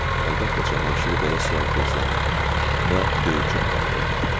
Əlbəttə Cavanşir belə sual gözləmirdi və döyüküb qaldı.